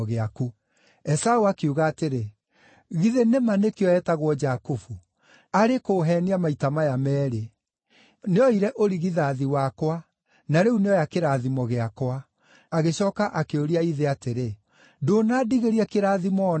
Esaũ akiuga atĩrĩ, “Githĩ nĩ ma nĩkĩo etagwo Jakubu? Arĩ kũũheenia maita maya meerĩ; nĩoire ũrigithathi wakwa, na rĩu nĩoya kĩrathimo gĩakwa!” Agĩcooka akĩũria ithe atĩrĩ, “Ndũnandigĩria kĩrathimo o na kĩmwe?”